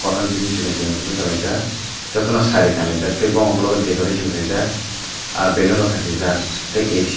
pran chini chikon chikon bachalaijak jottono sari kanlaijak tai bomo uklogo decoration kaijak ah balloon rok khasijak tai ac.